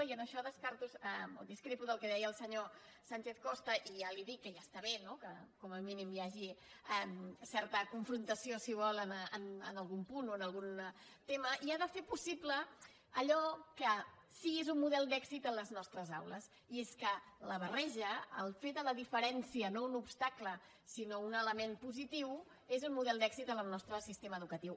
i en això descarto o discrepo del que deia el senyor sánchez costa i ja li dic que ja està bé no que com a mínim hi hagi certa confrontació si ho vol en algun punt o en algun tema i ha de fer possible allò que sí que és un model d’èxit a les nostres aules i és que la barreja el fet de fer de la diferència no un obstacle sinó un element positiu és un model d’èxit en el nostre sistema educatiu